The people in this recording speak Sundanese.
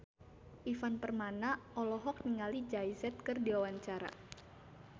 Ivan Permana olohok ningali Jay Z keur diwawancara